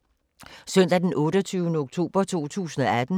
Søndag d. 28. oktober 2018